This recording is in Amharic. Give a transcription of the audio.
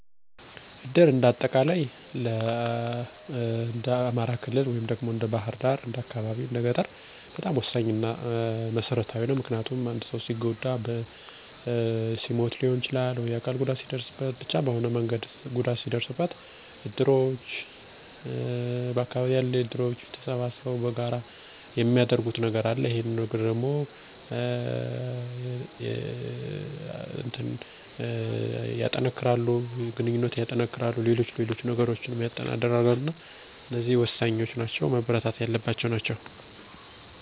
በእኔ አስተያየት የእድር ወይም የባህላዊ የጋራ መረዳጃ ማህበር አባል መሆን ብዙ ጥቅሞችን ይሰጣል። በሀዘን ጊዜ በተለይ ለቀብር ማህበራዊ እና የገንዘብ ድጋፍ በተጨማሪም የህብረተሰብን ትስስር ያጠናክራል፣ ትብብርን ያበረታታል እና በአስቸጋሪ ጊዜያት ማንም ሰው ብቸኝነት እንዳይሰማው ያደርጋል። እድርተኛው በቆሚነት ወራዊ መዋጮ ያደርጋሉ፣ እና በምላሹ፣ ሲያስፈልግ እርዳታ ያገኛሉ። በተጨማሪም እድር የባለቤትነት ስሜትን ያበረታታል እና በሰፈሮች ወይም መንደሮች ውስጥ የጋራ ሃላፊነትን፣ ባህላዊ እሴቶቻችን እና ባህላችን ይጠብቅልነል።